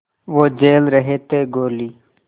वो झेल रहे थे गोली